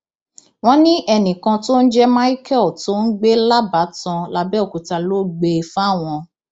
wọn ní ẹnìkan tó ń jẹ cs] michael tó ń gbé lábàtàn làbẹọkúta ló gbé e fáwọn